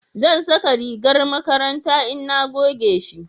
zan saka rigar makaranta in na goge shi